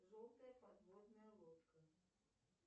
желтая подводная лодка